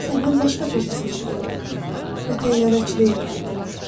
Beləliklə mən başqa peşə seçməli oldum və təyyarəçilik öyrəndim.